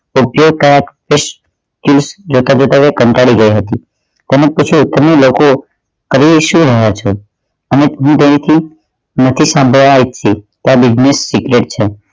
જોતાં જોતા એ કંટાળી ગઇ હતી કોઈ પૂછ્યું તમે લોકો કરી શું રહ્યા છો અને દિલ થી સંભળાય છે કે આ business secret છે